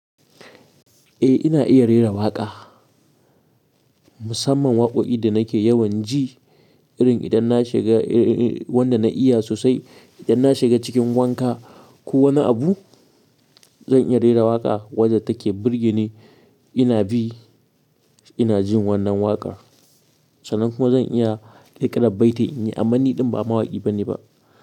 Eh, ina iya rera waƙa. Musamman waƙoƙi da nake yawan ji irin idan na shiga wanda na iya sosai, idan na shiga cikin wanka ko wani abu zan iya rera waƙa wadda take burge ni. Ina bi, ina jin wannan waƙar sannan kuma zan iya kirƙirar baiti in yi. Amma ni ɗin ba mawaƙi bane ba.